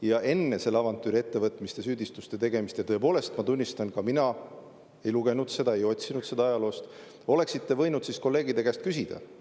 Ja enne selle avantüüri ettevõtmist ja süüdistuste tegemist – tõepoolest, ma tunnistan, ka mina ei lugenud seda, ei otsinud seda ajaloost – oleksite võinud kolleegide käest küsida.